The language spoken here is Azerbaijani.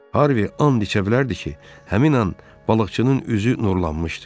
Harvi and içə bilərdi ki, həmin an balıqçının üzü nurlanmışdı.